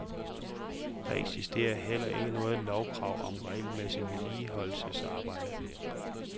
Der eksisterer heller ikke noget lovkrav om regelmæssig vedligeholdelsesarbejde.